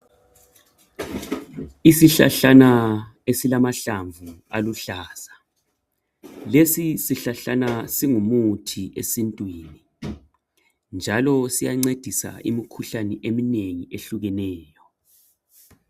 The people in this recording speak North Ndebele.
Isihlahlana esilamahlamvu aluhlaza. Lesisihlahlana singumuthi esintwini njalo siyancedisa imikhuhlane eminengi ehlukeneyo.